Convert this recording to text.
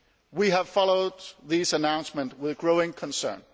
We have followed these announcements with growing concern.